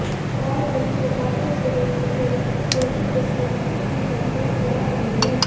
और वही बताते चलें कि लड़कियां सोशल डिस्टेंसिंग की धज्जियां उड़ा रही हैं